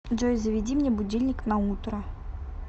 джой заведи мне будильник на утро